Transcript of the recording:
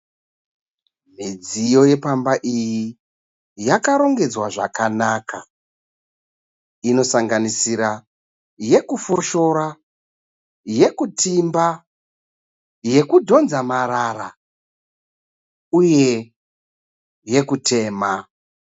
Midziyo yepamba iyi yakarongedzwa zvakanaka. Inosanganisira yekufoshora, yekutimba yekudhonza marara uye yekutema.